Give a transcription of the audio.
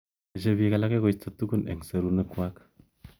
Meche bik alake koisto tukun eng serunek�kwaak